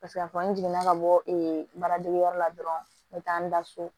Paseke a fɔ n jiginna ka bɔ ee baaradegeyɔrɔ la dɔrɔn n be taa n da so